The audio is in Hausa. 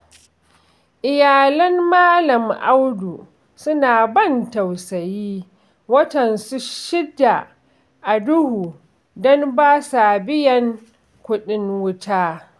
Iyalan Malam Audu suna ban tausayi, watansu shida a duhu don ba sa biyan kuɗin wuta